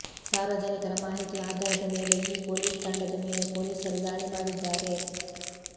ಸಾರ್ವಜನಿಕರ ಮಾಹಿತಿ ಆಧಾರದ ಮೇಲೆ ಈ ಪೊಲೀಸ್ ತಂಡದ ಮೇಲೆ ಪೊಲೀಸರು ದಾಳಿ ಮಾಡಿದ್ದಾರೆ